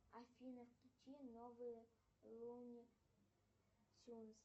афина включи новые луни тюнз